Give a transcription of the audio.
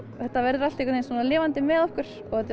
þetta verður allt svona lifandi með okkur þetta er